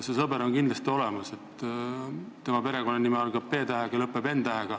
See sõber on kindlasti olemas, tema perekonnanimi algab P-tähega ja lõpeb n-tähega.